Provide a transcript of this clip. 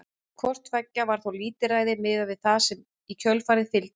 Hvort tveggja var þó lítilræði miðað við það sem í kjölfarið fylgdi.